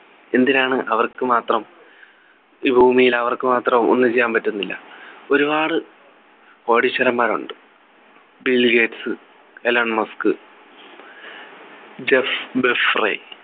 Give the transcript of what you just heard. എന്തിനാണ് അവർക്കു മാത്രം ഈ ഭൂമിയിൽ അവർക്ക് മാത്രം ഒന്നും ചെയ്യാൻ പറ്റുന്നില്ല ഒരുപാടു കോടീശ്വരന്മാരുണ്ട് ബിൽഗേറ്റ്സ് എലോൺ മസ്ക് ജെഫ് ബെഫ്രേ